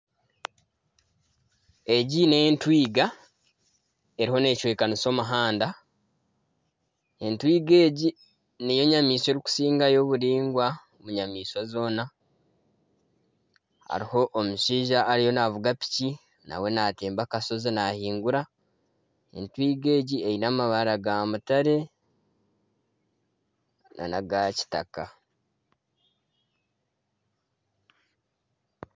Egi n'entwiga eriho necwekanisa omuhanda. Entwiga egi niyo nyamaishwa erikusingayo oburingwa omu nyamaishwa zoona. Hariho omushaija ariyo navuga piki mawe natemba akashozi nahingura. Entwiga egi eine amabara ga mutare nana aga kitaka.